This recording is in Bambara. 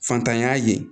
Fantanya ye